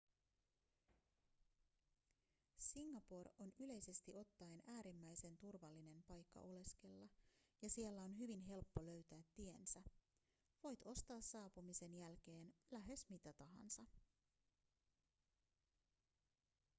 singapore on yleisesti ottaen äärimmäisen turvallinen paikka oleskella ja siellä on hyvin helppo löytää tiensä voit ostaa saapumisen jälkeen lähes mitä tahansa